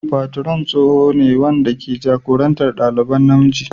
Patron tsoho ne wanda ke jagorantar ɗaliban namiji.